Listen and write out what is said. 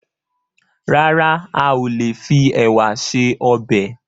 Rárá, a ò lè fi ẹ̀wà se ọbẹ̀